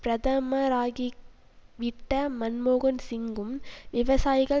பிரதமராகிவிட்ட மன்மோகன் சிங்கும் விவசாயிகள்